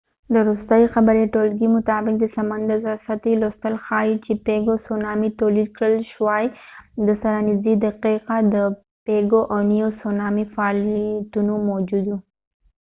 د وروستۍ خبري ټولګې مطابق، د سمندر د سطحې لوستل ښایي چې سونامي تولید کړل شواي. د pago pago او niue سره نژدې دقیقاٌ د سونامي فعالیتونه موجود و